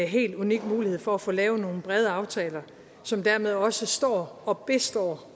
helt unik mulighed for at få lavet nogle brede aftaler som dermed også står og består